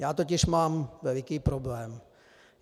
Já totiž mám veliký problém.